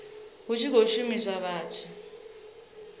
hu tshi khou shumiswa vhathu